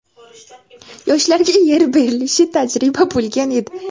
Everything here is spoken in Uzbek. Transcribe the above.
Yoshlarga yer berilishi tajriba bo‘lgan edi.